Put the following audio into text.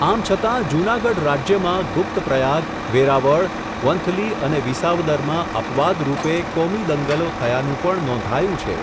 આમ છતાં જૂનાગઢ રાજ્યમાં ગુપ્ત પ્રયાગ, વેરાવળ, વંથલી અને વિસાવદરમાં અપવાદરૂપે કોમી દંગલો થયાનું પણ નોંધાયું છે.